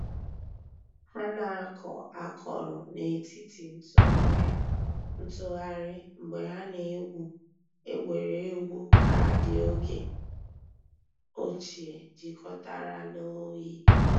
Hà nà-àkọ̀ àkọ̀rò nètìtì ntụ̀ghàrì mgbè hà nà-ègwù ègwè́ré́gwụ̀ kaadị ògè òchìè jìkọ̀tàrà nà òyì.